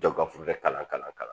Jɔn ka fura kalan ka